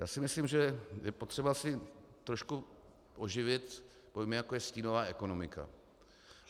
Já si myslím, že je potřeba si trošku oživit pojmy, jako je stínová ekonomika.